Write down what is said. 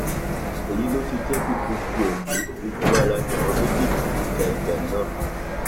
èyí ló fi jẹ pé gbogbo ẹmí gbogbo ará ni àwọn méjèèjì fi ń ja ìjà náà